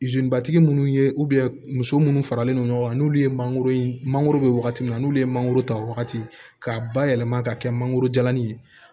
batigi munnu ye muso munnu faralen non ɲɔgɔn kan n'olu ye mangoro mangoro bɛ wagati min na n'ulu ye mangoro ta wagati k'a bayɛlɛma ka kɛ mangoro jalanin ye